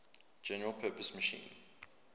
general purpose machine